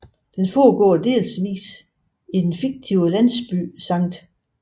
Den foregår delsvis i den fiktive landsby St